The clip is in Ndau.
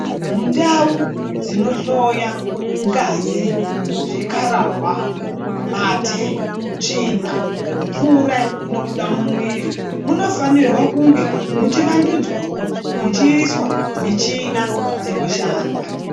Mundau dzinohloya ngazi, zvikararwa, mate, tsvina, mvura inobuda mumwiri. Munofanirwa kunge muchivandudzwavo ichiiswa michina dzinoshanda.